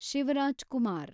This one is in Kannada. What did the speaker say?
ಶಿವರಾಜ್‌ ಕುಮಾರ್